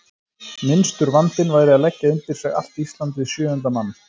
Minnstur vandinn væri að leggja undir sig allt Ísland við sjöunda mann.